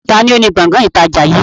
Taàní ó ní Gbọ̀ngán ìtajà yìí?